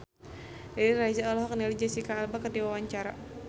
Riri Reza olohok ningali Jesicca Alba keur diwawancara